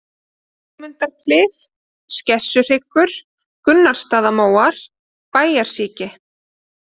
Sigmundarklif, Skessuhryggur, Gunnarsstaðamóar, Bæjarsíki